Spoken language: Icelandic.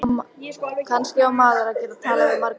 Hvernig eiga nokkrir aldraðir munkar að verjast þeim?